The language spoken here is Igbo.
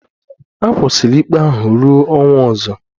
A kwụsịrị ikpe ahụ ruo ọnwa ọzọ